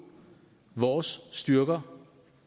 vores styrker